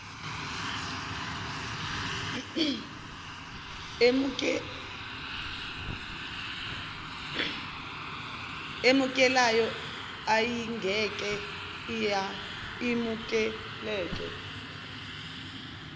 emukelayo ayingeke imukeleke